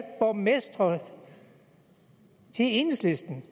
borgmestre til enhedslisten